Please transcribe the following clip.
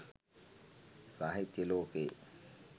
සාහිත්‍ය ලෝකයේ